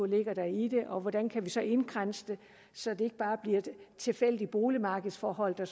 ligger i det og hvordan vi så kan indkredse det så det ikke bare bliver tilfældige boligmarkedsforhold der